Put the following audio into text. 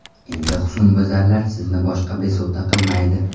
Endi husnbuzarlar sizni boshqa bezovta qilmaydi.